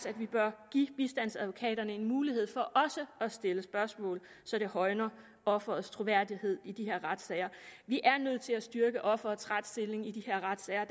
at vi bør give bistandsadvokaterne en mulighed for også at stille spørgsmål så det højner offerets troværdighed i de her retssager vi er nødt til at styrke offerets retsstilling i de her retssager